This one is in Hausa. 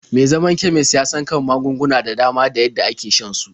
Me zaman kemis ya san kan magunguna da dama da yadda ake shan su.